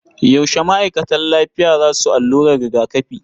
Yaushe ma'aikatan lafiya za su allurar rigakafi?